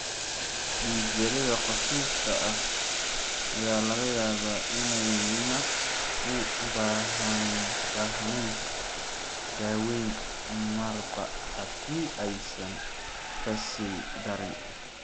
Dhiig-yarida khafiifka ah ayaa laga yaabaa inayna u baahnayn daaweyn, marba haddii aysan ka sii darin.